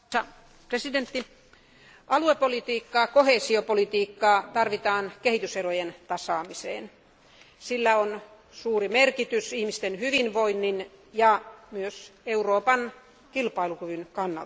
Arvoisa puhemies, aluepolitiikkaa, koheesiopolitiikkaa tarvitaan kehityserojen tasaamiseen. Sillä on suuri merkitys ihmisten hyvinvoinnin ja myös Euroopan kilpailukyvyn kannalta.